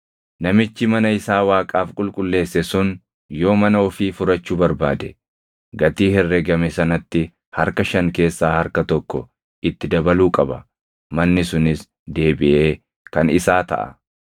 Namichi mana isaa Waaqaaf qulqulleesse sun yoo mana ofii furachuu barbaade, gatii herregame sanatti harka shan keessaa harka tokko itti dabaluu qaba; manni sunis deebiʼee kan isaa taʼa.